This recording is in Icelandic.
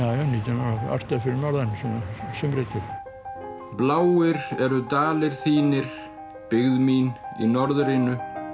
ég orti það fyrir norðan að sumri til bláir eru dalir þínir byggð mín í norðrinu